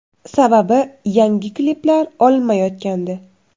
Sababi yangi kliplar olinmayotgandi.